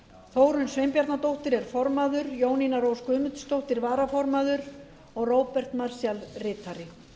þórunn sveinbjarnardóttir er formaður jónína rós guðmundsdóttir varaformaður og róbert marshall ritari